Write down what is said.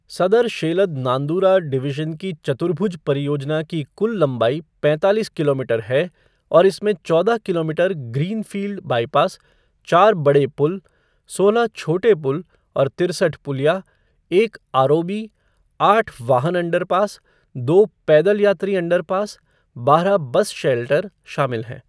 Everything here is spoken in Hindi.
सदर शेलद नांदूरा डिवीज़न की चतुर्भुज परियोजना की कुल लंबाई पैंतालीस किलोमीटर है और इसमें चौदह किलोमीटर ग्रीनफ़ील्ड बाईपास, चार बड़े पुल, सोलह छोटे पुल और तिरसठ पुलिया, एक आरओबी, आठ वाहन अंडरपास, दो पैदल यात्री अंडरपास, बारह बस शेल्टर शामिल हैं।